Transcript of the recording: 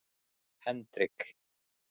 Hendrik